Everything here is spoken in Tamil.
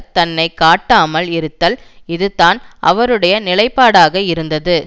தன்னை காட்டாமல் இருத்தல் இது தான் அவருடைய நிலைப்பாடாக இருந்தது